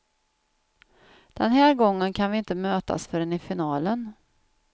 Den här gången kan vi inte mötas förrän i finalen.